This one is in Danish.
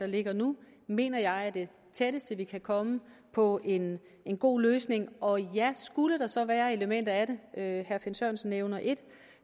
der ligger nu mener jeg er det tætteste vi kan komme på en god løsning og ja skulle der så være elementer i det herre finn sørensen nævner et